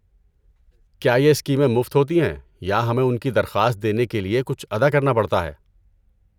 کیا یہ اسکیمیں مفت ہوتی ہیں یا ہمیں ان کی درخواست دینے کے لیے کچھ ادا کرنا پڑتا ہے؟